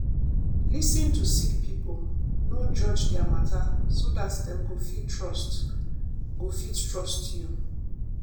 lis ten to sick pipo no judge dia mata so dat dem go fit trust go fit trust you.